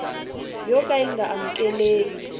yo ka yi nga amukeleki